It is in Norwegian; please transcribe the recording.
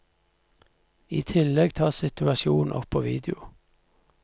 I tillegg tas situasjonen opp på video.